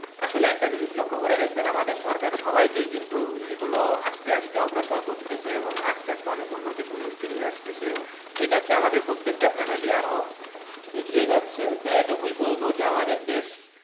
আসলে একটা জিনিস লক্ষ্য করে দেখবেন আমাদের সরকার সবাইকেই কিন্তু এইগুলো আস্তে আস্তে অগ্রসর করতেছে এবং আস্তে আস্তে অনেক উন্নতি প্রযুক্তি নিয়ে আসতেছে, এই ক্ষেত্রে আমাদের প্রত্যেকটা family আরো এগিয়ে যাচ্ছে, তো এতটুকু বলবো যে, আমাদের দেশ,